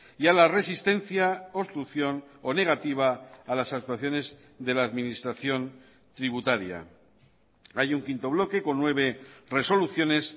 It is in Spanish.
y a la resistencia obstrucción o negativa a las actuaciones de la administración tributaria hay un quinto bloque con nueve resoluciones